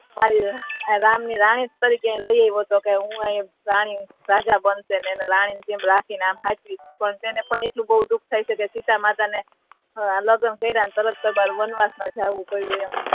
રામ ની રાણી તરીકે લાવ્યો હતો હુ અહિ રાજા બનશે અને એમને રાની ની જેમ રાખીને હાચવી પણ એને પણ એટલો દુખ થયો કે સીતામાતા ને લગ્ન કૈરા ને તરત જ વનવાસ મા જવુ પડયુ એમ